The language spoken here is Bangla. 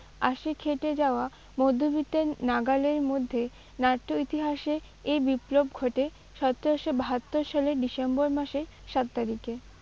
আসে খেটে যাওয়া মধ্যবিত্তের নাগালের মধ্যে নাট্য ইতিহাসে এই বিপ্লব ঘটে সতেরোশো বাহাত্তর সালের ডিসেম্বর মাসের সাত তারিখে।